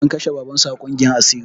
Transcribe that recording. An kashe baban su a ƙungiyar asiri